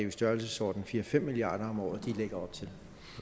i størrelsesordenen fire fem milliard kroner om året de lægger op til